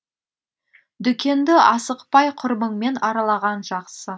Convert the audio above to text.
дүкенді асықпай құрбыңмен аралаған жақсы